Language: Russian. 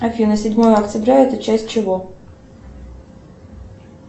афина седьмое октября это часть чего